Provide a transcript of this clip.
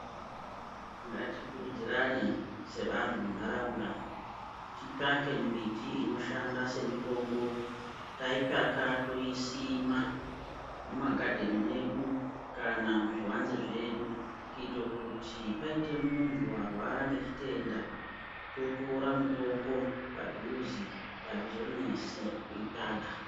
Ngatikurudzirane sevantu muntaraunda kuti titsvake mbiti inoshanda semitombo taitsvaka toisima mumagadheni mwedu kana muzvivanze zvedu kuitira kuti paita muntu warwara ngechitenda totora mitombo padhuze azvizonesi kuitsvaka.